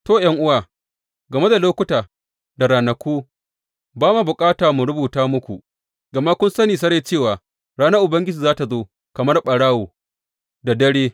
To, ’yan’uwa, game da lokuta da ranaku, ba ma bukata mu rubuta muku, gama kun sani sarai cewa ranar Ubangiji za tă zo kamar ɓarawo da dare.